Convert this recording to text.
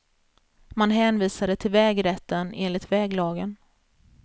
Man hänvisade till vägrätten enligt väglagen.